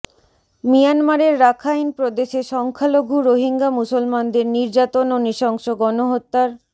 মিয়ানমারের রাখাইন প্রদেশে সংখ্যালঘু রোহিঙ্গা মুসলমানদের নির্যাতন ও নৃশংস গণহত্যার